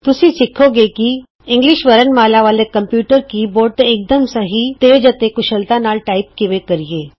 ਤੁਸੀਂ ਸਿਖੋਂ ਗੇ ਕਿ ਇੰਗਲਿਸ਼ ਵਰਣਮਾਲਾ ਵਾਲੇ ਕੰਪਯੂਟਰ ਕੀ ਬੋਰਡ ਤੇ ਇਕਦਮ ਸਹੀ ਤੇਜ਼ ਅਤੇ ਕੁਸ਼ਲਤਾ ਨਾਲ ਟਾਈਪ ਕਿਵੇਂ ਕਰਿਏ